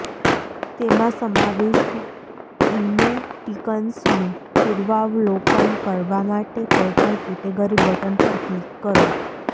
તેમાં સમાવિષ્ટ ઇમોટિકન્સનું પૂર્વાવલોકન કરવા માટે કોઈપણ કેટેગરી બટન પર ક્લિક કરો